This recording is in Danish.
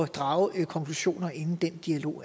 drage konklusioner inden den dialog